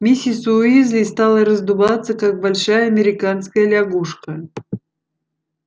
миссис уизли стала раздуваться как большая американская лягушка